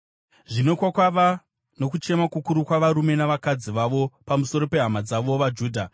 Zvino kwakava nokuchema kukuru kwavarume navakadzi vavo pamusoro pehama dzavo vaJudha.